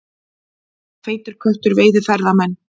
Feitur köttur veiði ferðamenn